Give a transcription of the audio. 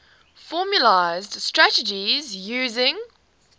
formalised strategies using